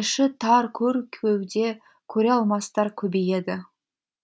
іші тар көр кеуде көре алмастар көбейеді